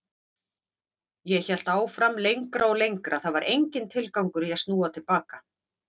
Ég hélt áfram lengra og lengra, það var enginn tilgangur í að snúa til baka.